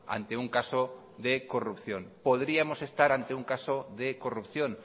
ante un caso de corrupción podríamos estar ante un caso de corrupción